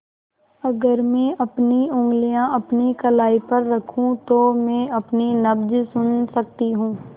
अगर मैं अपनी उंगलियाँ अपनी कलाई पर रखूँ तो मैं अपनी नब्ज़ सुन सकती हूँ